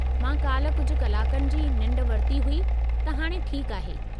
मूं काल्ह कुझु कलाकनि जी निंढ वरिती हुई, त हाणे ठीकु आहे।